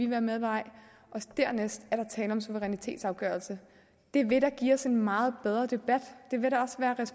være med eller ej dernæst er der tale om en suverænitetsafgørelse det vil da give os en meget bedre debat